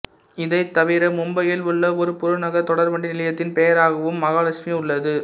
இதைத் தவிர மும்பையில் உள்ள ஒரு புறநகர் தொடர்வண்டி நிலையத்தின் பெயராகவும் மகாலட்சுமி உள்ளது